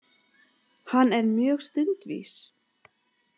Hann er mjög stundvís.